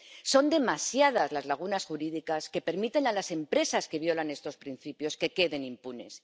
Son demasiadas las lagunas jurídicas que permiten que las empresas que violan estos principios queden impunes.